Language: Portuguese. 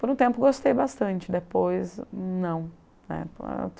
Por um tempo gostei bastante, depois não.